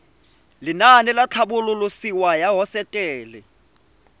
lenaane la tlhabololosewa ya hosetele